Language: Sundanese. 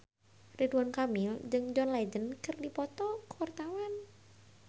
Ridwan Kamil jeung John Legend keur dipoto ku wartawan